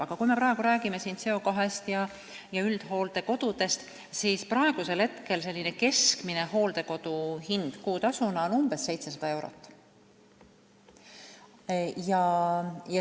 Aga kui me räägime CO2-st ja üldhooldekodudest, siis praegu on keskmine hooldekodu kuutasu on umbes 700 eurot.